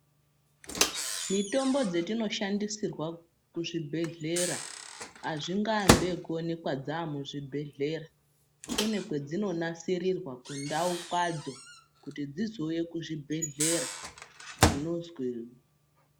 Mitombo dzatinoshandisirwa kuzvibhedhlera, azvingoambi okuwonekwa dzamuzvibhedhlera, kune kwadzinonasirirwa kundau kwadzo kuti dzizouye kuzvibhedhlera kunozwi.....